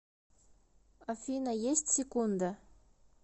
афина есть секунда